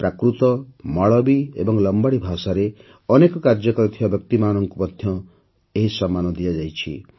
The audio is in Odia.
ପ୍ରାକୃତ ମାଳବୀ ଏବଂ ଲମ୍ବାଡ଼ୀ ଭାଷାରେ ଅନେକ କାର୍ଯ୍ୟ କରିଥିବା ବ୍ୟକ୍ତିମାନଙ୍କୁ ମଧ୍ୟ ଏହି ସମ୍ମାନ ଦିଆଯାଇଛି